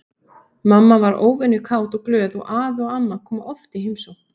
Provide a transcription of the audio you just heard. Mamma var óvenju kát og glöð og afi og amma komu oft í heimsókn.